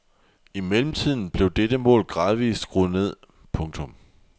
I mellemtiden blev dette mål gradvist skruet ned. punktum